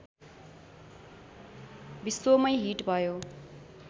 विश्वमै हिट भयो